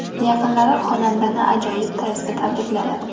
Yaqinlari xonandani ajoyib tarzda tabrikladi.